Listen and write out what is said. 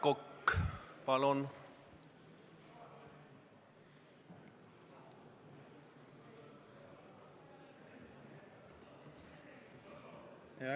Aivar Kokk, palun!